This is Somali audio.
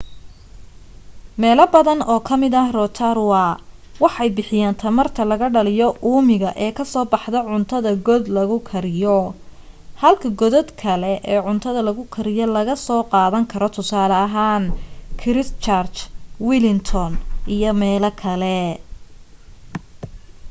meelo badan oo ka mid ah rotorua waxay bixiyaan tamarta laga dhaliyo uumiga ee kasoo baxdaa cuntada god lagu kariyo halka godad kale ee cuntada lagu kariyo laga soo qaadan karo tusaale ahaan christchurch wellington iyo meelo kale